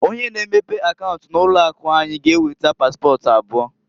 Onye na-emepe akaunt na ụlọ akụ anyị g'eweta paspọt abụọ.